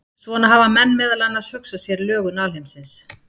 Svona hafa menn meðal annars hugsað sér lögun alheimsins.